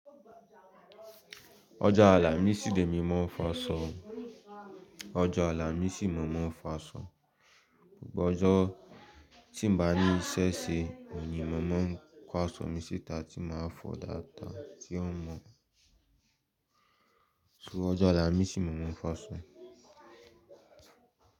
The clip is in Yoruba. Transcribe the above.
Ọjọ́ Àlàmísì lémi mọ́ fáṣọ́, ọjọ́ Àlàmísì mọ̀ mọ́n fáṣọ́. Gbogbo ọjọ́ tí n bá ní iṣẹ́ ṣe ni mọ̀ ọ́n ń kó aṣọ mi síta tí máa fọ̀ dáadáa, tí ó mọ̀. So ọjọ́ Àlàmísì mọ̀ mọ́n fáṣọ́.